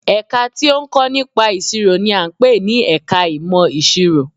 Ẹ̀ka tí ó ń kọ́ nípa ìṣirò n i à ń pè ní ẹka ìmọ̀ ìṣirò